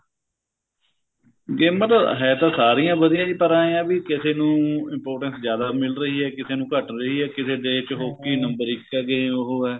ਗੇਮਾਂ ਤਾਂ ਹੈ ਤਾਂ ਸਾਰੀਆਂ ਵਧੀਆ ਪਰ ਇਹ ਏ ਬੀ ਕਿਸੇ ਨੂੰ importance ਜਿਆਦਾ ਮਿਲ ਰਹੀ ਏ ਕਿਸੇ ਨੂੰ ਘੱਟ ਰਹੀ ਏ ਕਿਸੇ ਦੇਸ਼ ਚ number ਇੱਕ ਏ game ਉਹ ਏ